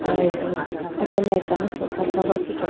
aya bi aido ala akano sofa kha bhi athuti ho.